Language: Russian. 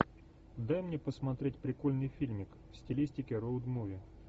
дай мне посмотреть прикольный фильмик в стилистике роуд муви